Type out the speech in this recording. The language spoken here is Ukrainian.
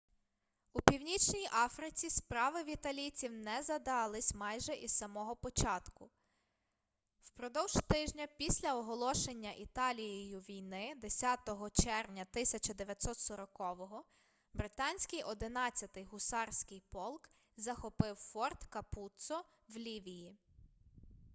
у північній африці справи в італійців не задались майже із самого початку впродовж тижня після оголошення італією війни 10 червня 1940 британський 11-й гусарський полк захопив форт капуццо в лівії